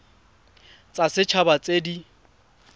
tsa set haba tse di